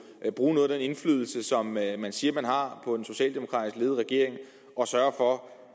bruge noget af den indflydelse som man man siger man har på den socialdemokratisk ledede regering og sørge for